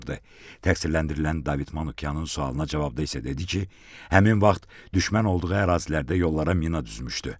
Təqsirləndirilən David Manukyanın sualına cavabda isə dedi ki, həmin vaxt düşmən olduğu ərazilərdə yollara mina düzmüşdü.